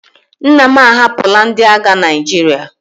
Nna m ahapụla ndị agha Naịjirịa.